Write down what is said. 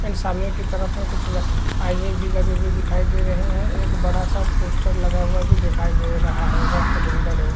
And सामने की तरफ में कुछ न आईने भी लगे हुए दिखाई दे रहे हैं एक बड़ा-सा पोस्टर भी लगा हुआ दिखाई दे रहा है व कैलेंडर है।